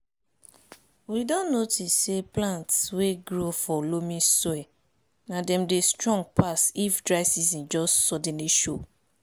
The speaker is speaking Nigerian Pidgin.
we don notice say plants wey grow for loamy soil na dem dey strong pass if dry season just suddenly show